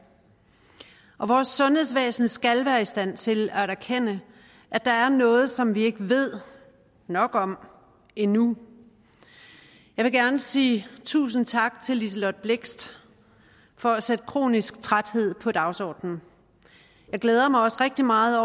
vores sundhedsvæsen skal være i stand til at erkende at der er noget som vi ikke ved nok om endnu jeg vil gerne sige tusind tak til liselott blixt for at sætte kronisk træthed på dagsordenen jeg glæder mig også rigtig meget